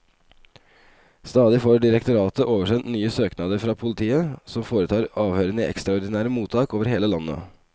Stadig får direktoratet oversendt nye søknader fra politiet, som foretar avhørene i ekstraordinære mottak over hele landet.